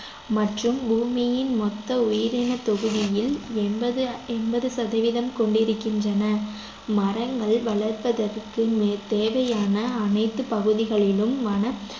மற்றும் பூமியின் மொத்த உயிரினத்தொகுதியில் எண்பது எண்பது சதவீதம் கொண்டிருக்கின்றன மரங்கள் வளர்ப்பதற்கு தேவையான அனைத்து பகுதிகளிலும் வன